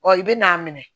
Ɔ i bɛn'a minɛ